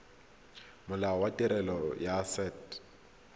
molao wa tirelo ya set